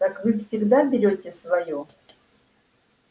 так вы всегда берёте своё